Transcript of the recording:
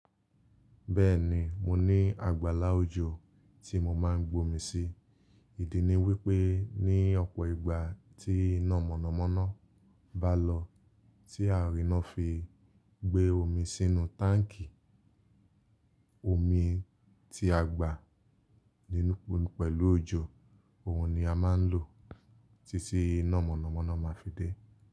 Bẹ́ẹ̀ni, mo ní àgbàlá òjò tí mo máa ń gbomi sí. Ìdí ni wípé ní ọ̀pọ̀ ìgbà tí iná mọ̀nàmọ́ná bá lọ, tí àárín náà fi gbé omi sínú táǹkì, omi tí a gbà pẹ̀lú òjò, òun ni a máa ń lò títí iná mọ̀nàmọ́ná máa fi dé.